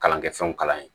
Kalan kɛ fɛnw kalan ye